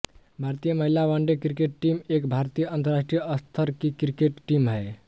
भारतीय महिला one day cricket team एक भारतीय अंतरराष्ट्रीय स्तर की क्रिकेट टीम है